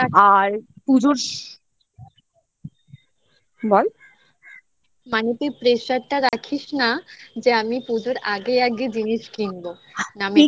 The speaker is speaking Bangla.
তো এরকম করে কি বলতো সারা বছরে টুক টুক টুক টুক করে কিনতেই থাকি college এও যেতে হয় নানা রকমের জামাকাপড়ও লাগে তো সেই জন্যেই কিনি ভাই আর পুজোর বল